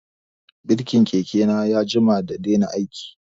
Birkin keke na ya jima da daina aiki